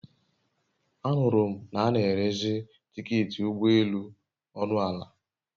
A nụrụ m na a n'erezi tiketị ụgbọ elù ọnụ ala